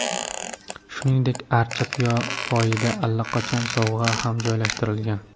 Shuningdek, archa poyida allaqachon sovg‘alar ham joylashtirilgan.